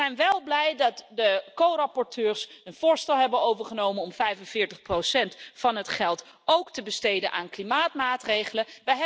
Wij zijn wel blij dat de corapporteurs een voorstel hebben overgenomen om 45 van het geld ook te besteden aan klimaatmaatregelen.